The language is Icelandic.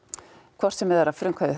hvort sem það er að frumkvæði